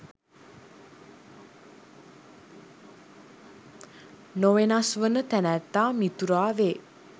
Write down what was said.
නොවෙනස් වන තැනැත්තා මිතුරා වේ